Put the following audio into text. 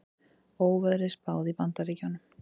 Óveðri spáð í Bandaríkjunum